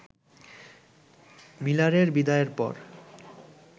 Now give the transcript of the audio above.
মিলারের বিদায়ের পর